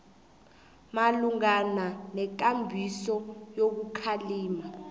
malungana nekambiso yokukhalima